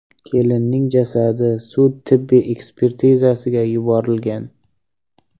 Kelinning jasadi sud-tibbiy ekspertizasiga yuborilgan.